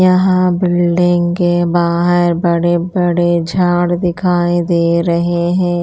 यहाँ बिल्डिंग के बाहर बड़े बड़े झाड़ दिखाई दे रहे है।